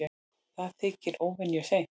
Það þykir óvenju seint